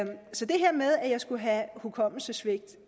jeg skulle have hukommelsessvigt